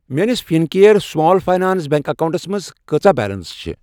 میٲنِس Fincare small finance bank اکاونٹَس منٛٛز کۭژاہ بیلنس چِھ ۔